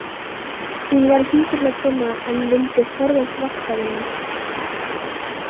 Hún var hjúkrunarkona en vildi forðast vaktavinnu.